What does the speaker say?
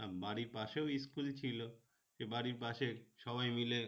আহ বাড়ির পাশেও school ছিল সে বাড়ির পাশে সবাই মিলে